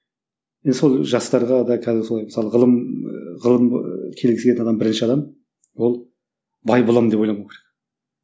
енді сол жастарға да қазір солай мысалы ғылым ғылым келгісі келетін адам бірінші адам ол бай боламын деп ойламау керек